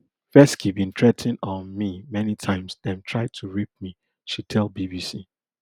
fesci bin threa ten um me many times dem try to rape me she tell bbc